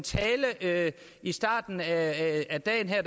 tale i starten af dagen her